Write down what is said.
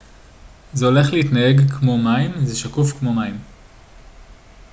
זה הולך להתנהג כמו מים זה שקוף כמו מים